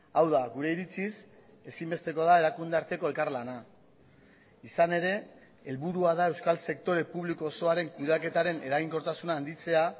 hau da gure iritziz ezinbestekoa da erakunde arteko elkarlana izan ere helburua da euskal sektore publiko osoaren kudeaketaren eraginkortasuna handitzea